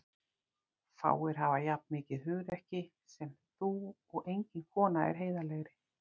Fáir hafa jafn mikið hugrekki sem þú og engin kona er heiðarlegri.